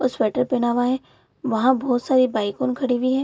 और स्वेटर पेहना हुआ है वहाँ बहुत सारी बाइकों खड़ी हुई हैं।